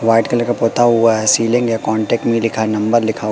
white colour का पोता हुआ है सीलिंग है कांटेक्ट में लिखा नंबर लिखा--